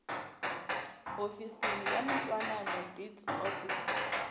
hofisi ya mintwanano deeds office